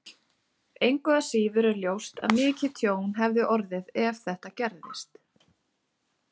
Engu að síður er ljóst að mikið tjón hefði orðið ef þetta gerist.